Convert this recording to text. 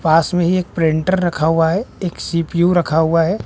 पास में ही एक प्रिंटर रखा हुआ है एक सी_पी_यू रखा हुआ है।